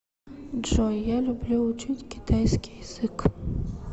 джой я люблю учить китайский язык